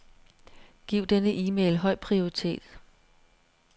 Giv denne e-mail høj prioritet.